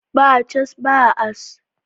Ba cas, ba as